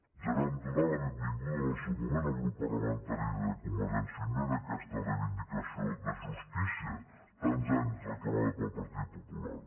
ja vam donar la benvinguda en el seu moment al grup parlamentari de convergència i unió a aquesta reivindicació de justícia tants anys reclamada pel partit popular